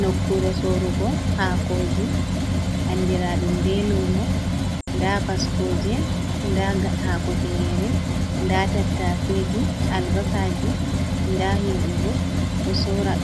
Nokkure sorugo haakoji andiraɗum be lumo. Nda baskoje, nda haako tinyere, nda tataseji, albasaji, nda himɓe bo